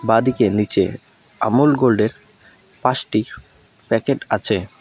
বাঁদিকে নীচে আমুল গোল্ডের পাঁচটি প্যাকেট আছে।